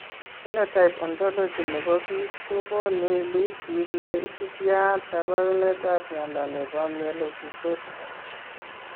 Phenotype Ontology ne po biik ko konu listiit ne isubiap kaabarunetap mnyando ne po Myelofibrosis.